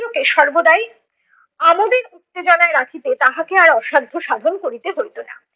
কে সর্বদাই আমোদের উত্তেজনায় রাখিতে তাহাকে আর অসাধ্য সাধন করিতে হইতো না।